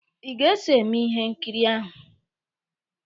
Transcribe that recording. Ị ga-eso eme ihe nkiri ahụ!